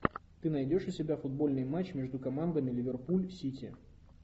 ты найдешь у себя футбольный матч между командами ливерпуль сити